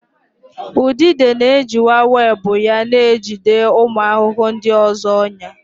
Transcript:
Udide na-ejiwa webụ ya na-ejide ụmụ ahụhụ ndị ọzọ ọnyà.